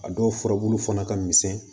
A dɔw furabulu fana ka misɛn